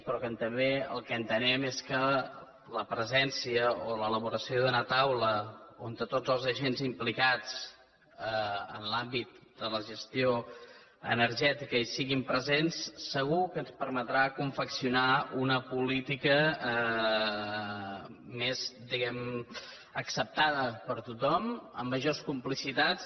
però que també el que entenem és que la presència o l’elaboració d’una taula on tots els agents implicats en l’àmbit de la gestió energètica hi siguin presents segur que ens permetrà confeccionar una política més diguem ne acceptada per tothom amb majors complicitats